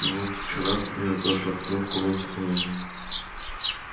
вот вчера к примеру даже окно в комнате помыл